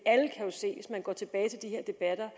hvis man går tilbage til de her debatter